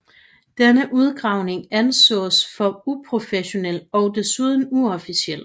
Denne udgravning ansås for uprofessionel og desuden uofficiel